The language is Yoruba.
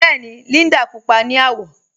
Bẹẹni, Líndà púpọ̀ ni awọ